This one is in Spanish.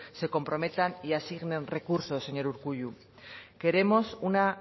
se comprometan y asignen recursos señor urkullu queremos una